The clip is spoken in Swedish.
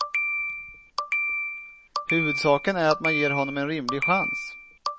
Huvudsaken är att man ger honom en rimlig chans.